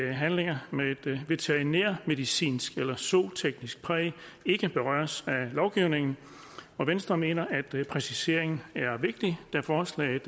at handlinger med et veterinærmedicinsk eller zooteknisk præg ikke berøres af lovgivningen venstre mener at præciseringen er vigtig da forslaget